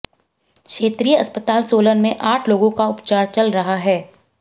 क्षेत्रीय अस्पताल सोलन में आठ लोगों का उपचार चल रहा है